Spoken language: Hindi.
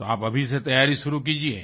तो आप अभी से तैयारी शुरू कीजिये